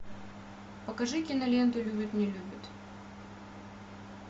покажи киноленту любит не любит